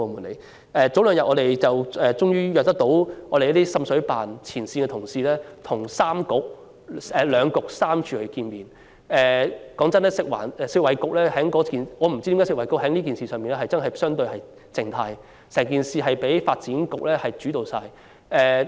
前兩天，我們終於能安排滲水投訴調查聯合辦事處的前線同事與兩局三署的官員會面，老實說，我也不知道食物及衞生局為何在這事情上相對被動，任由發展局主導一切。